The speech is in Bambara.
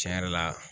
Tiɲɛ yɛrɛ la